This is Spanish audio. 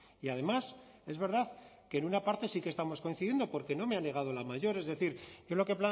y además es verdad que en una parte sí que estamos coincidiendo porque no me ha negado la mayor es decir yo lo que he